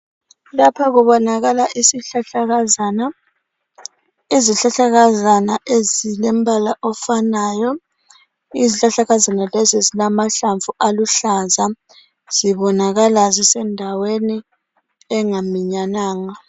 Lapha kubonakala isihlahlakazana, izihlahlakazana ezilempala ofanayo izihlahlakazana lezi zilamahlamvu aluhlaza zibonakala zisendaweni engaminyananga.